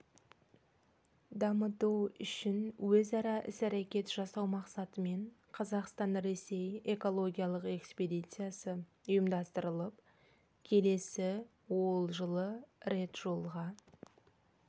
дамыту үшін өзара іс-әрекет жасау мақсатымен қазақстан-ресей экологиялық экспедициясы ұйымдастырылып келеді ол жылы рет жолға